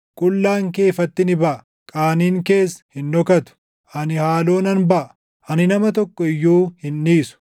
Qullaan kee ifatti ni baʼa; qaaniin kees hin dhokatu. Ani haaloo nan baʼa; ani nama tokko iyyuu hin dhiisu.”